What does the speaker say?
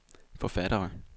forfattere